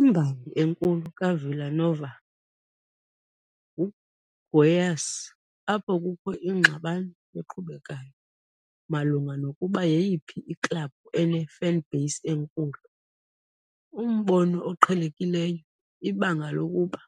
Imbangi enkulu kaVila Nova nguGoiás, apho kukho ingxabano eqhubekayo malunga nokuba yeyiphi iklabhu ene-fanbase enkulu. Umbono oqhelekileyo ibango lokuba